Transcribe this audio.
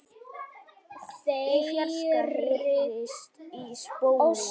Í fjarska heyrist í spóa.